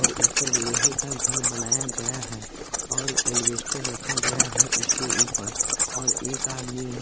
और ऊपर लोहे का घर बनाया गया है और एलवेस्टर रखा गया है उसके ऊपर और एक आदमी --